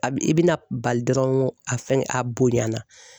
A bi i bina bali dɔrɔn a fɛngɛ a bonyana.